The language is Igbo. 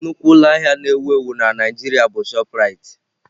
Nnukwu ụlọ ahịa na-ewu ewu na Naịjirịa bụ chopụ Raitị.